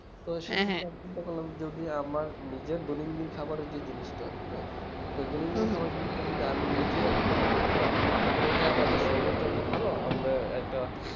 তো যেকোন আমি যদি আমার নিজের দৈনন্দিন খাবারের যেই জিনিসটা হ্যাঁ সেই দৈনন্দিন খাবার জিনিসটা আমি নিজে উৎপন্ন করতে পারি তাহলে এটা আমাদের শরীর এর জন্য ভালো আমরা একটা